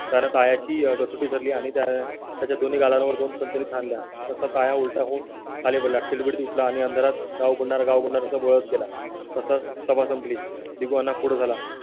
कारण त्याची कसोटी ठरली आणि त्या त्याच्या दोन्ही गालां वर दोन सणसणीत हाणली तर त्या उलटा होऊन खाली पडला आणि अंधाराचा गाव बळी गेला तसं सभा संपली. दिवाना पुढे झाला